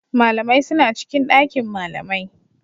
Malamai suna cikin ɗakin malamai